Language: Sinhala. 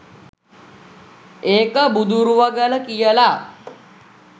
ඒක බුදුරුවගල කියලා.